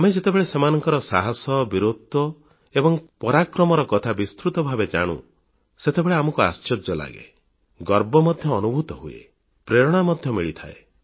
ଆମେ ଯେତେବେଳେ ସେମାନଙ୍କ ସାହସ ବୀରତ୍ୱ ଏବଂ ପରାକ୍ରମର କଥା ବିସ୍ତୃତ ଭାବେ ଜାଣୁ ସେତେବେଳେ ଆମକୁ ଆଶ୍ଚର୍ଯ୍ୟ ଲାଗେ ଗର୍ବ ମଧ୍ୟ ଅନୁଭୂତ ହୁଏ ପ୍ରେରଣା ମଧ୍ୟ ମିଳିଥାଏ